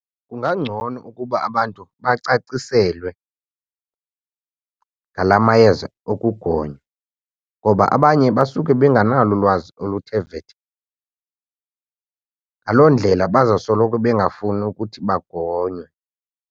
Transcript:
Kungangcono ukuba abantu bacaciselwe ngala mayeza okugonywa ngoba abanye basuke bengenalo ulwazi oluthe vetshe, ngaloo ndlela bazawusoloko bengafuni ukuthi bangonywe.